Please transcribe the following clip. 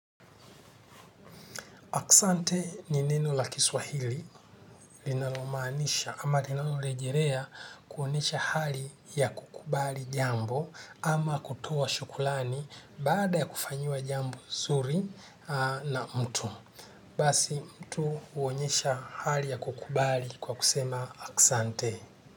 Asante ni neno la kiswahili linalomanisha ama linalolejerea kuonesha hali ya kukubali jambo ama kutoa shukulani baada ya kufanyiwa jambo nsuri na mtu. Basi mtu uonyesha hali ya kukubali kwa kusema asante.